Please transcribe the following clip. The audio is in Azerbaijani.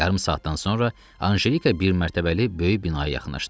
Yarım saatdan sonra Anjelika bir mərtəbəli böyük binaya yaxınlaşdı.